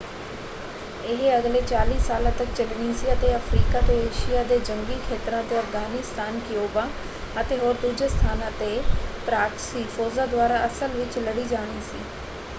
ਇਹ ਅਗਲੇ 40 ਸਾਲਾਂ ਤੱਕ ਚੱਲਣੀ ਸੀ ਅਤੇ ਇਹ ਅਫ਼ਰੀਕਾ ਤੋਂ ਏਸ਼ੀਆ ਦੇ ਜੰਗੀ ਖੇਤਰਾਂ 'ਤੇ ਅਫ਼ਗ਼ਾਨਿਸਤਾਨ ਕਿਊਬਾ ਅਤੇ ਹੋਰ ਦੂਜੇ ਸਥਾਨਾਂ 'ਤੇ ਪਰਾਕਸੀ ਫੌਜਾਂ ਦੁਆਰਾ ਅਸਲ ਵਿੱਚ ਲੜੀ ਜਾਣੀ ਸੀ।